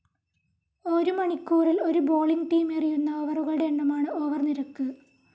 ഒരൗ മണിക്കൂറിൽ ഒരു bowling team എറിയുന്ന ഓവറുകളുടെ എണ്ണമാണ് ഓവർ നിരക്ക്.